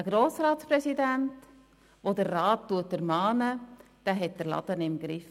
Ein Grossratspräsident, der den Rat ermahnt, hat den Laden im Griff.